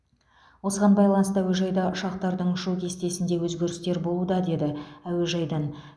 осыған байланысты әуежайда ұшақтардың ұшу кестесінде өзгерістер болуда деді әуежайдан